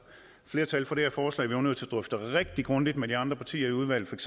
flertal for det her forslag var nødt til rigtig grundigt med de andre partier i udvalget